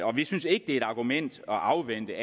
og vi synes ikke det er et argument at afvente